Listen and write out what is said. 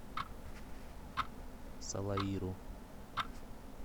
салаиру